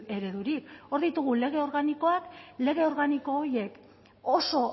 eredurik hor ditugu lege organikoak lege organiko horiek oso